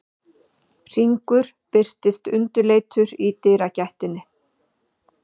Hringur birtist undirleitur í dyragættinni.